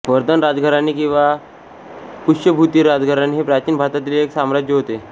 वर्धन राजघराणे किंवा पुष्यभुती राजघराणे हे प्राचीन भारतातील एक साम्राज्य होते